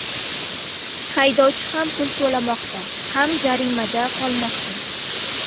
Haydovchi ham pul to‘lamoqda, ham jaziramada qolmoqda.